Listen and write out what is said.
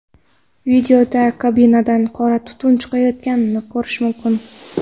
Videoda kabinadan qora tutun chiqayotganini ko‘rish mumkin.